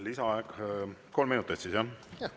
Lisaaeg kolm minutit siis, jah?